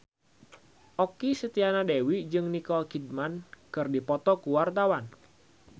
Okky Setiana Dewi jeung Nicole Kidman keur dipoto ku wartawan